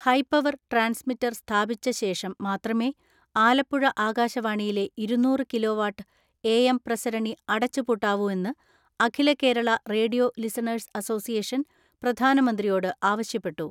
High power transmitter സ്ഥാപിച്ച ശേഷം മാത്രമേ ആലപ്പുഴ ആകാശവാണിയിലെ ഇരുന്നൂറ് കിലോവാട്ട് എ എം പ്രസരണി അടച്ചു പൂട്ടാവൂ എന്ന് അഖില കേരള റേഡിയോ ലിസണേഴ്സ് അസോസിയേഷൻ പ്രധാനമന്ത്രിയോട് ആവശ്യപ്പെട്ടു.